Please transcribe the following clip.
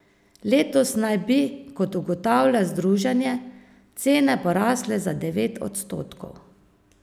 Letos naj bi, kot ugotavlja združenje, cene porasle za devet odstotkov.